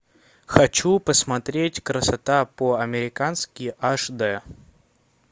хочу посмотреть красота по американски аш дэ